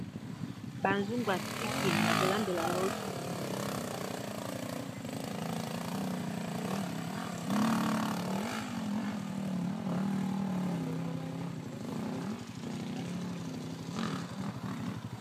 bazungu yakulambela loso